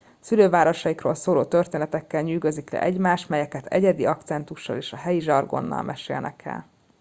szülővárosaikról szóló történetekkel nyűgözik le egymást melyeket egyedi akcentussal és a helyi zsargonnal mesélnek el